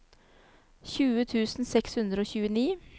tjue tusen seks hundre og tjueni